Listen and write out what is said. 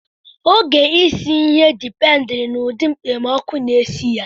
Oge isi ihe dipendiri na ụdị mkpemọkụ na-esi ya.